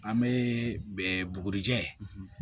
An bɛ bugurijɛ